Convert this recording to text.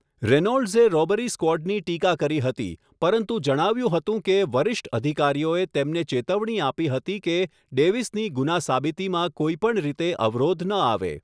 રેનોલ્ડ્સે robbery સ્ક્વોડની ટીકા કરી હતી, પરંતુ જણાવ્યું હતું કે વરિષ્ઠ અધિકારીઓએ તેમને ચેતવણી આપી હતી કે ડેવિસની ગુના સાબિતીમાં કોઈપણ રીતે અવરોધ ન આવે.